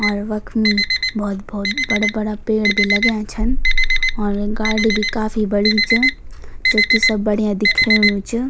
और वख्मी भौत भौत बड़ा बड़ा पेड़ भी लग्याँ छन और गाडी भी काफी बड़ी च जूकि सब बढ़िया दिख्येणु च।